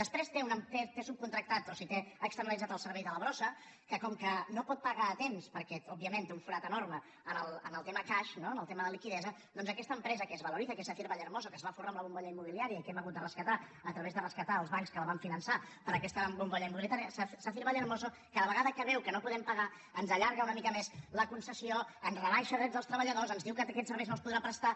després té subcontractat o sigui té externalitzat el servei de la brossa que com que no pot pagar a temps perquè òbviament té un forat enorme en el tema cash no en el tema de liquiditat doncs aquesta empresa que és valoriza que és sacyr vallehermoso que es va folrar amb la bombolla immobiliària i que hem hagut de rescatar a través de rescatar els bancs que la van finançar per aquesta bombolla immobiliària sacyr vallehermoso cada vegada que veu que no podem pagar ens allarga una mica més la concessió ens rebaixa drets dels treballadors ens diu que aquests serveis no els podrà prestar